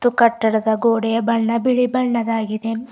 ಕಟ್ಟಡದ ಗೋಡೆಯ ಬಣ್ಣ ಬಿಳಿ ಬಣ್ಣದಾಗಿದೆ.